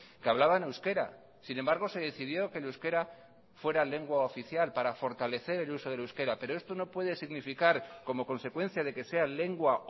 que hablaban euskera sin embargo se decidió que el euskera fuera lengua oficial para fortalecer el uso del euskera pero esto no puede significar como consecuencia de que sea lengua